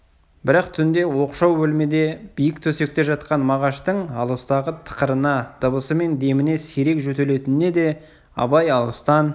бірақ түнде оқшау бөлмеде биік төсекте жатқан мағаштың алыстағы тықырына дыбысы мен деміне сирек жөтеліне де абай алыстан